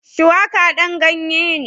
Shuwaƙa ɗan ganye ne